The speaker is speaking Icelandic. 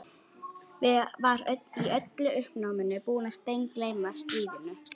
Var í öllu uppnáminu búinn að steingleyma strýinu.